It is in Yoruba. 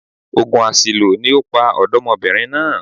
Ògùn àṣìlò ni ó pa ọ̀dọ́mọbìnrin náà